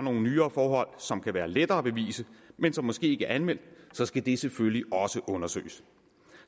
nogle nyere forhold som kan være lettere at bevise men som måske ikke er anmeldt så skal det selvfølgelig også undersøges